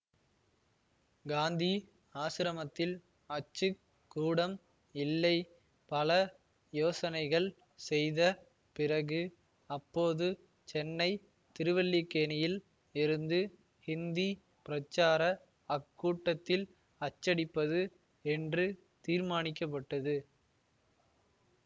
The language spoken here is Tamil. காந்தி ஆசிரமத்தில் அச்சு கூடம் இல்லை பல யோசனைகள் செய்த பிறகு அப்போது சென்னை திருவல்லிக்கேணியில் இருந்து ஹிந்தி பிரச்சார அக்கூடத்தில் அச்சடிப்பது என்று தீர்மானிக்க பட்டது